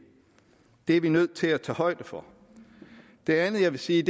det er vi nødt til at tage højde for det andet jeg vil sige